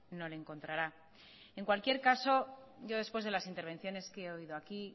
no le encontrará en cualquier caso yo después de las intervenciones que he oído aquí